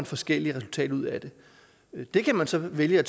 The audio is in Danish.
forskellige resultater ud af det det kan man så vælge at